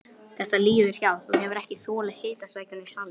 Þetta líður hjá, þú hefur ekki þolað hitasvækjuna í salnum.